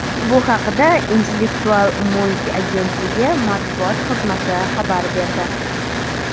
Bu haqda Intellektual mulk agentligi matbuot xizmati xabar berdi .